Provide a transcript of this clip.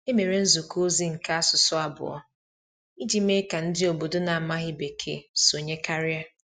E mere nzukọ ozi nke asụsụ abụọ iji mee ka ndị obodo na-amaghị Bekee sonye karịa.